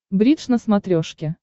бридж на смотрешке